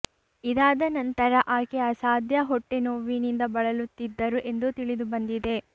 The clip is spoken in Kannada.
ಇದಾದ ನಂತರ ಆಕೆ ಅಸಾಧ್ಯ ಹೊಟ್ಟೆನೋವಿನಿಂದ ಬಳಲುತ್ತಿದ್ದರು ಎಂದು ತಿಳಿದು ಬಂದಿದೆ